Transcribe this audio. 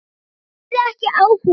Hann hafði ekki áhuga.